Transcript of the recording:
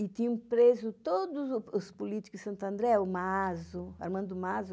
E tinham preso todos os políticos de Santo André, o Maso, Armando Maso,